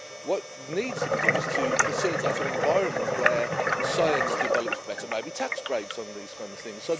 What needs to be done is to facilitate an environment where science develops better maybe tax breaks on these kind of things.